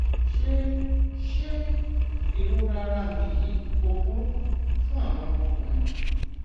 ṣé ṣé ìrora ara mi yìí kò burú fún àwọn ọmọkùnrin